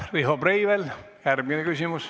Riho Breivel, järgmine küsimus.